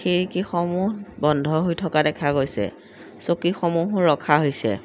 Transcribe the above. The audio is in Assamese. খিৰকীসমূহ বন্ধ হৈ থকা দেখা গৈছে চকীসমূহো ৰখা হৈছে।